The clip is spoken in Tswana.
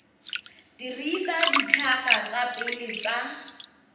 dirisa ditlhaka tsa pele tsa